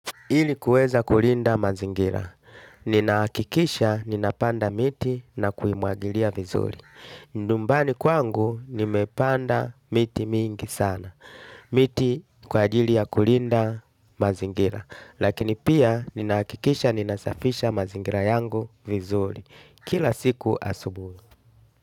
Hili kuweza kulinda mazingira. Ninaakikisha ninapanda miti na kuimuagilia vizuri. Nyumbani kwangu nimepanda miti mingi sana. Miti kwa ajili ya kulinda mazingira. Lakini pia ninakikisha ninasafisha mazingira yangu vizuri. Kila siku asubui.